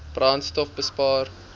brandstofbespaar